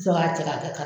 Sɔrɔ k'a cɛ ka kɛ